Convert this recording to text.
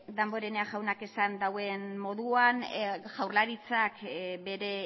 damborenea jaunak esan duen moduan jaurlaritzak bere